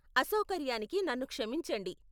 అసౌకర్యానికి నన్ను క్షమించండి.